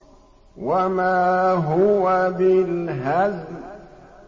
وَمَا هُوَ بِالْهَزْلِ